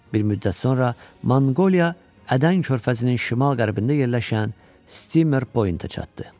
Bir müddət sonra Monqoliya Ədən körfəzinin şimal-qərbində yerləşən Stimer Pointə çatdı.